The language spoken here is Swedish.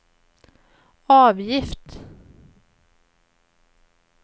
avgift